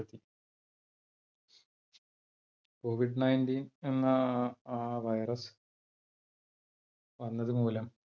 covid nineteen എന്ന ആ virus വന്നത് മൂലം